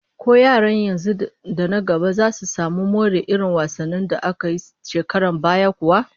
Ko yaran yanzu da na nan gaba zasu samu more irin wasannin da aka yi a shekarun baya kuwa?